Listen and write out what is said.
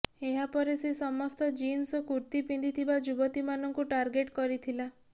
ଏହାପରେ ସେ ସମସ୍ତ ଜିନ୍ସ ଓ କୁର୍ତ୍ତୀ ପିନ୍ଧିଥିବା ଯୁବତୀମାନଙ୍କୁ ଟାର୍ଗେଟ କରିଥିଲା